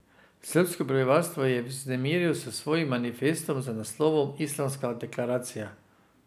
Srbsko prebivalstvo je vznemiril s svojim manifestom z naslovom Islamska deklaracija.